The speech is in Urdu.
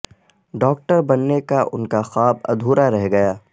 ڈاکٹر بننے کا ان کا خواب ادھورا رہ گیا